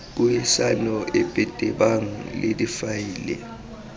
puisano epe tebang le difaele